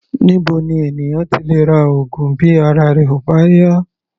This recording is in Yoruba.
Níbo ni ènìyàn ti lè ra oògùn bí ara rẹ̀ ò bá yá?